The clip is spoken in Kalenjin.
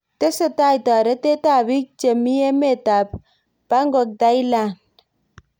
Tesetai torotet ab bik chebmi emet ab Pangok Thailand.